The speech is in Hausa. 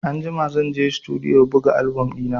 Anjima zan je Situdiyo buga album ɗina.